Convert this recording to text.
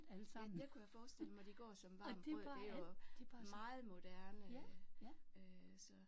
Ja det kunne jeg forestille mig de går som varmt brød det er jo meget moderne øh så